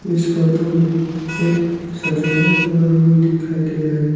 इस फोटो में एक सजाया हुआ रूम दिखाई दे रहा है।